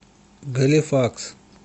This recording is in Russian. галифакс